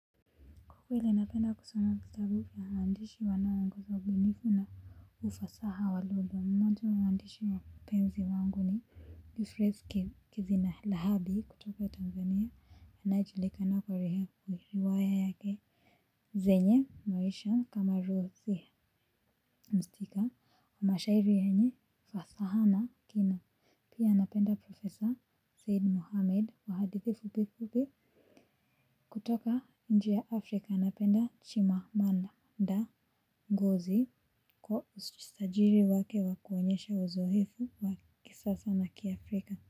Kwa kweli napenda kusoma vitabu vya waandishi wanaoongeza ubunifu na ufasaha wa lugha. Mmoja wa waandishi wapenzi wangu ni. Euphrase Kezilahabi kutoka Tanzania. Anayejulikana kwa riwaya yake. Zenye maisha kamaru mhusika. Na mashairi yenye fasaha na kina. Pia napenda Profesa Said Mohamed. Kwa hadithi fupi fupi. Kutoka nje ya Afrika napenda Chimamanda. Ngozi kwa ujasiri wake wa kuonyesha uzoefu wa kisasa na kiafrika.